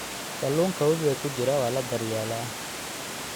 Kalluunka wabiga ku jira waa la daryeelaa.